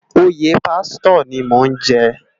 Óyé pásitò ni mó n jè